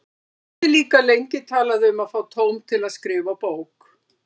Hann hafði líka lengi talað um að fá tóm til að skrifa bók.